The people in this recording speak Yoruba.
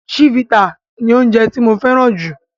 Chivita ni oje tí mo féràn ju